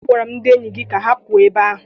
Agwara m ndị enyi gị ka ha pụọ ebe ahụ!